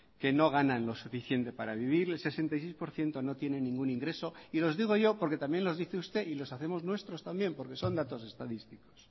que no ganan lo suficiente para vivir el sesenta y seis por ciento no tiene ningún ingreso y los digo yo porque también los dice usted y los hacemos nuestros también porque son datos estadísticos